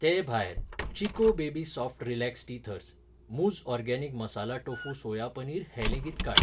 ते भायर, Chicco baby soft relax teethers, मुझ organic masala tofu soya paneer हें लेगीत काड.